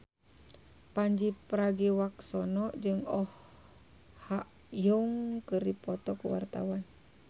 Pandji Pragiwaksono jeung Oh Ha Young keur dipoto ku wartawan